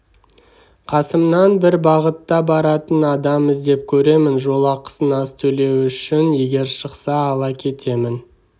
қасымнан бір бағытта баратын адам іздеп көремін жол ақысын аз төлеу үшін егер шықса ала кетемін